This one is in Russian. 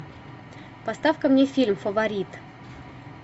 поставь ка мне фильм фаворит